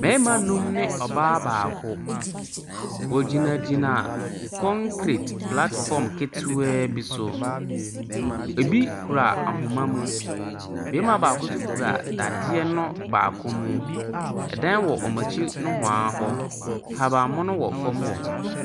Mmarima nnum ne ɔbaa baako. Wɔgyinagyina kɔnkret platfɔm ketewaa bi so. Ɛbi kura ahoma mu. Bɛɛma baako so kura dadeɛ baako mu. Ɛdan wɔ ɔm'akyi nohoaa hɔ. Ahaban mono wɔ fam hɔ.